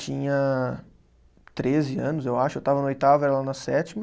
Tinha treze anos, eu acho, eu estava na oitava, ela na sétima,